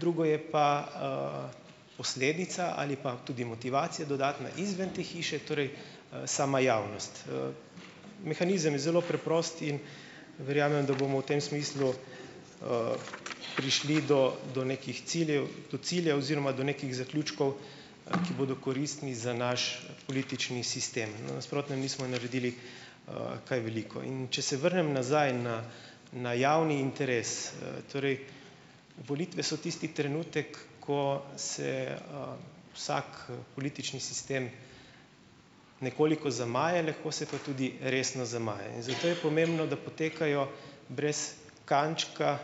drugo je pa, posledica ali pa tudi motivacija dodatna izven te hiše, torej, sama javnost. mehanizem je zelo preprost in verjamem, da bomo v tem smislu, prišli do do nekih ciljev, do ciljev oziroma do nekih zaključkov, ki bodo koristni za naš politični sistem. No, v nasprotnem nismo naredili, kaj veliko. In če se vrnem nazaj na na javni interes, torej volitve so tisti trenutek, ko se, vsak, politični sistem nekoliko zamaje, lahko se pa tudi resno zamaje in zato je pomembno, da potekajo brez kančka,